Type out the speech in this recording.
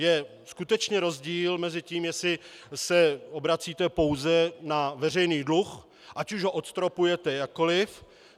Je skutečně rozdíl mezi tím, jestli se obracíte pouze na veřejný dluh, ať už ho odstropujete jakkoli.